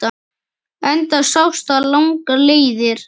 Enda sást það langar leiðir.